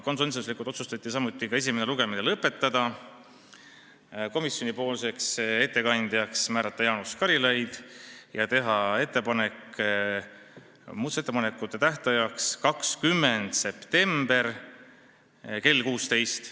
Konsensuslikult otsustati ka esimene lugemine lõpetada, komisjoni ettekandjaks määrata Jaanus Karilaid ja teha ettepanek määrata muudatusettepanekute esitamise tähtajaks 20. september kell 16.